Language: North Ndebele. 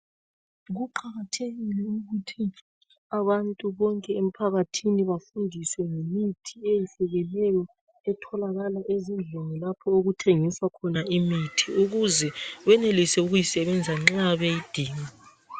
Kuqakathekile ukuthi abantu bonke emphakathini bafundiswe ngemithi eyehlukeneyo etholakala ezindlini lapho okuthengiswa khona imithi ukuze benelise ukuyisebenzisa nxa beyidinga.